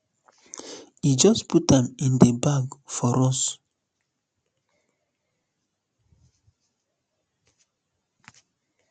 e just put am um in di bag for us